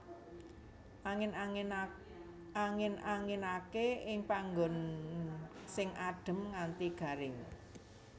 Angin anginake ing panggon sing adem nganti garing